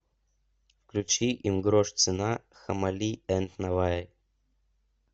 включи им грош цена хамали энд наваи